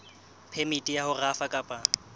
phemiti ya ho rafa kapa